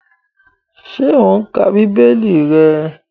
Ṣé o n ka bíbélì rẹ?